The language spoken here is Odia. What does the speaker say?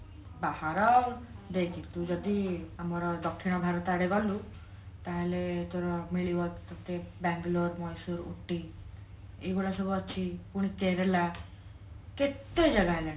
ବାହାର ଦେଖ ତୁ ଯଦି ଆମାର ଦକ୍ଷିଣ ଭାରତ ଆଡେ ଗଲୁ ତାହାଲେ ତୋର ମିଳିବ ତତେ ବାଙ୍ଗଲୋର ମଇଶୁର ଉଟୀ ଏଇଗୋଡା ସବୁ ଅଛି ପୁଣି କେରେଳା କେତେ ଜାଗା ହେଲାଣି